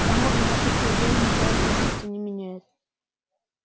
к тому же наше исключение ничего в сущности не меняет